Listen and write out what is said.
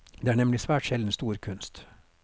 Det er nemlig svært sjelden stor kunst.